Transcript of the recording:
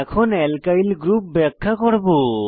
এখন alkyl group ব্যাখ্যা করব